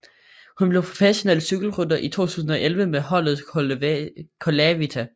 Hun blev professionel cykelrytter i 2011 med holdet Colavita